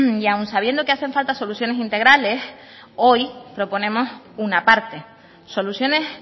y aun sabiendo que hacen falta soluciones integrales hoy proponemos una parte soluciones